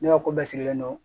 Ne ka ko bɛɛ sigilen don